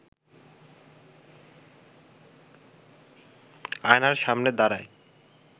আয়নার সামনে দাঁড়ায়